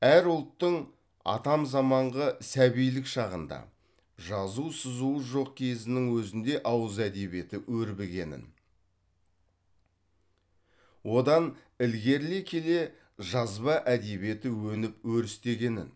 әр ұлттың атам заманғы сәбилік шағында жазу сызуы жоқ кезінің өзінде ауыз әдебиеті өрбігенін одан ілгерілей келе жазба әдебиеті өніп өрістегенін